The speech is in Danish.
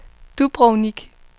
Dubrovnik